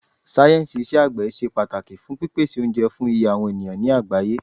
Sáyẹ̀nsì iṣẹ́ àgbẹ̀ ṣe pàtàkì fún pípèsè oúnjẹ fún iye àwọn ènìyàn ní àgbáyé.